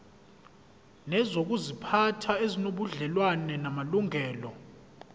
nezokuziphatha ezinobudlelwano namalungelo